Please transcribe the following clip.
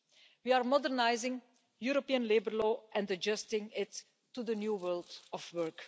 We are modernising European labour law and adjusting it to the new world of work.